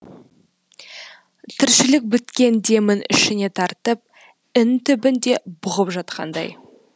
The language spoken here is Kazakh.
тіршілік біткен демін ішіне тартып ін түбінде бұғып жатқандай